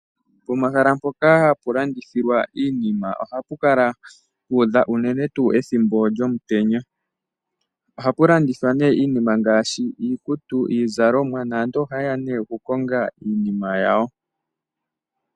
Pomahala mpoka ha pu landithilwa iinima oha pu kala pu udha unene tuu ethimbo lyomutenya. Oha pu landithwa nee iinima ngaashi iizalomwa naantu ohaye ya okukonga iinima yawo.